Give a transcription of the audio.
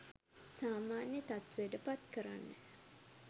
සාමාන්‍ය තත්ත්වයට පත් කරන්න.